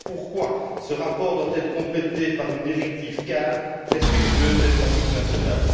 C'est pourquoi ce rapport doit être complété par une directive cadre respectueuse des pratiques nationales.